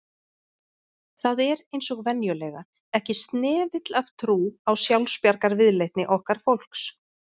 Það er eins og venjulega, ekki snefill af trú á sjálfsbjargarviðleitni okkar fólks